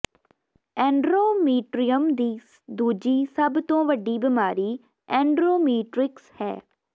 ਐਂਡਟੋਮੀਟ੍ਰੀਅਮ ਦੀ ਦੂਜੀ ਸਭ ਤੋਂ ਵੱਡੀ ਬਿਮਾਰੀ ਐਂਂਡ੍ਰੋਮਿਟ੍ਰਿਕਸ ਹੈ